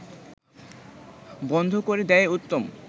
বন্ধ করে দেয়াই উত্তম